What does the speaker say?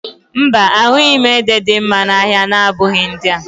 Mba, a ahụghị ede dị mma n'ahịa na-abụghị ndị a